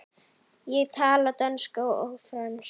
Ég tala dönsku og frönsku.